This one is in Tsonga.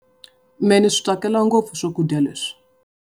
Mehe ni swi tsakela ngopfu swakudya leswi.